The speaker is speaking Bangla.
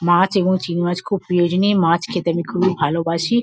মাছ এবং চিংড়ি মাছ খুব প্রিয় জিনি। মাছ খেতে আমি খুবই ভালোবাসি।